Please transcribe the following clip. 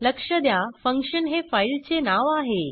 लक्ष द्या फंक्शन हे फाईलचे नाव आहे